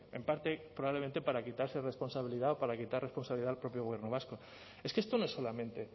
en parte probablemente para quitarse responsabilidad o para quitar responsabilidad al propio gobierno vasco es que esto no es solamente